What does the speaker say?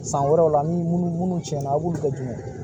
San wɛrɛw la ni munnu tiɲɛna aw b'olu kɛ jumɛn ye